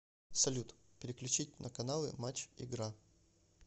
салют переключить на каналы матч игра